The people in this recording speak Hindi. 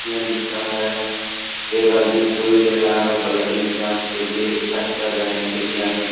में लिखा है एक आदमी सुई ले रहा है ब्लडिंग जांच के लिए रिसर्च कर रहे हैं वैज्ञानिक।